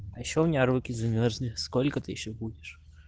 а ещё у меня руки замёрзли сколько ты ещё будешь